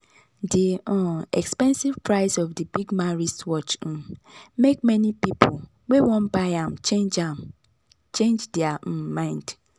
the um expensive price of the big-man wristwatch um make many people wey wan buy am change am change their um mind.